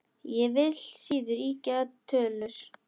Ég vil síður ýkja tölur.